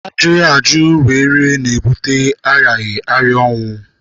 Ajụghị ajụ wee ri na-ebute arịaghị arịa nwụ.